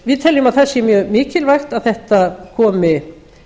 við teljum að það sé mjög mikilvægt að þetta komi